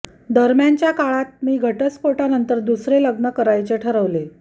दरम्यानच्या काळात मी घटस्फोटानंतर दुसरे लग्न करायचे ठरवले